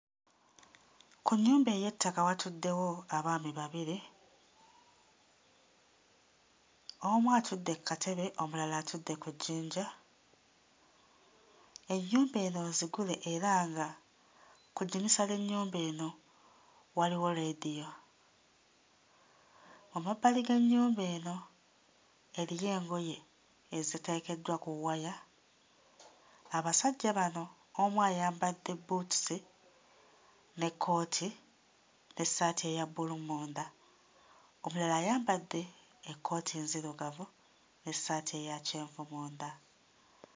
Ku nnyumba ey'ettaka watuddewo abaami babiri, omu atudde kkatebe omulala atudde ku jjinja, ennyumba eno nzigule era nga ku ddinisa ly'ennyumba eno waliwo leediyo. Mu mabbali g'ennyumba eno eriyo engoye eziteekeddwa ku waya. Abasajja bano omu ayambadde bbuutusi n'ekkooti n'essaati eya bbulu munda, omulala ayambadde ekkooti nzirugavu n'essaati eya kyenvu munda.